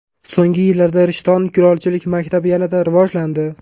So‘nggi yillarda Rishton kulolchilik maktabi yanada rivojlandi.